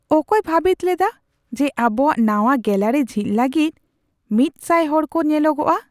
ᱚᱠᱚᱭ ᱵᱷᱟᱹᱵᱤᱛ ᱞᱮᱫᱟ ᱡᱮ ᱟᱵᱚᱣᱟᱜ ᱱᱟᱶᱟ ᱜᱮᱞᱟᱨᱤ ᱡᱷᱤᱡ ᱞᱟᱹᱜᱤᱫ ᱑᱐᱐ ᱦᱚᱲ ᱠᱚ ᱧᱮᱞᱚᱜᱚᱜᱼᱟ ?